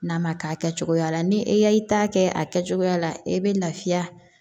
N'a ma kɛ a kɛcogoya la ni e y'i ta kɛ a kɛcogoya la i bɛ lafiya